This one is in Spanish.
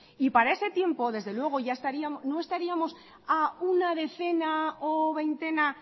y para ese tiempo desde luego no estaríamos a una decena o veintena